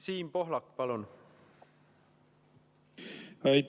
Siim Pohlak, palun!